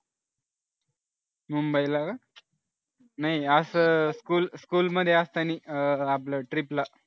मुंबईला का नाही असं school मध्ये असतानी आपलं trip ला